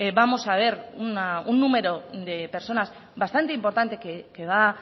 vamos a ver un número de personas bastante importante que va